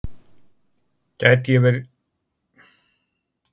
Gæti ég komið og verið hjá henni dálitla stund?